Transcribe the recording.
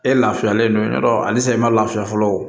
E lafiyalen don ya dɔn alisa i ma laafiya fɔlɔ